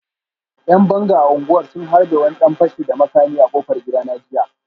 ‘Yan banga a unguwar sun harbe wani dan fashi da makami a kofar gidana jiya